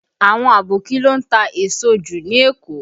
Àwọn Aboki ló ń ta èso jù ní Èkó